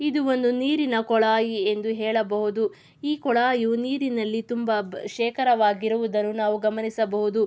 ಇದು ಒಂದು ನೀರಿನ ಕೊಳಾಯಿ ಎಂದು ಹೇಳಬಹುದು. ಈ ಕೊಳಾಯಿಯು ನೀರಿನಲ್ಲಿ ತುಂಬಾ ಶೇಖರವಾಗಿರುವುದನ್ನು ನಾವು ಗಮನಿಸಬಹುದು.